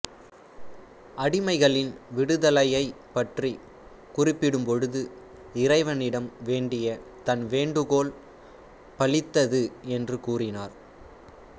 அடிமைகளின் விடுதலையைப் பற்றிக் குறிப்பிடும்பொழுது இறைவனிடம் வேண்டிய தன் வேண்டுகோள் பலித்தது என்றும் கூறினார்